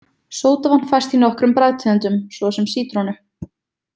Sódavatn fæst í nokkrum bragðtegundum, svo sem sítrónu.